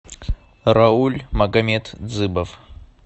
рауль магамет дзыбов